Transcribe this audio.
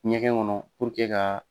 Ɲɛgɛn kɔnɔ ka